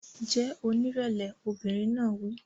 Jẹ́ onírẹ̀lẹ̀! Obìnrin náà wí.